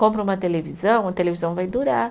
Compra uma televisão, a televisão vai durar.